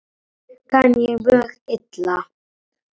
Þessu kann ég mjög illa.